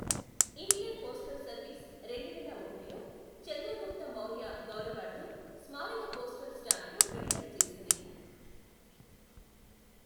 Indian postal service రెండువేల ఒకటిలో చంద్రగుప్త మౌర్య గౌరవార్థం స్మారక పోస్టల్ స్టాంప్ను విడుదల చేసింది.